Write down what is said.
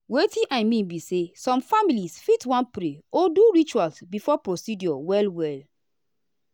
wetin i mean be say some families fit wan pray or do ritual before procedure well well.